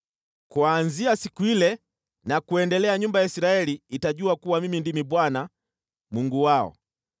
Kuanzia siku ile na kuendelea nyumba ya Israeli itajua kuwa Mimi ndimi Bwana , Mungu wao.